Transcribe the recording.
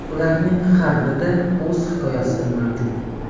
Ularning har birida o‘z hikoyasi mavjud.